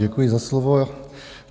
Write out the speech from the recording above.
Děkuji za slovo.